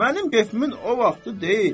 Mənim kefimin o vaxtı deyil.